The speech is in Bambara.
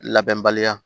Labɛnbaliya